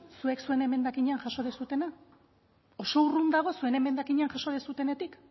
zuek zuen emendakinean jaso duzuena oso urrun dago zuen emendakinean jaso duzuenetik